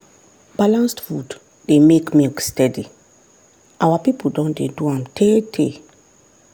balanced food dey make milk steady our people don dey do am tey tey